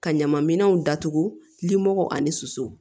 Ka ɲama minɛnw datugu limɔgɔ ani suso